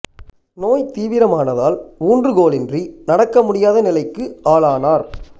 நோய் தீவிரமானதால் ஊன்று கோலின்றி நடக்க முடியாத நிலைக்கு ஆளானார்